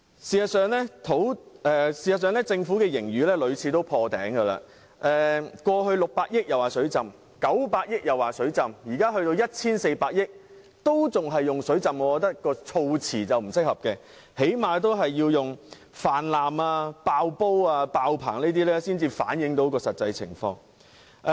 事實上，政府的盈餘屢次破頂，過去有600億元盈餘稱為"水浸"、900億元盈餘又稱為"水浸"，現在高達 1,400 億元盈餘仍然稱為"水浸"，我認為措辭並不適合，最低限度要用泛濫、"爆煲"、"爆棚"這些詞語，才能反映實際情況。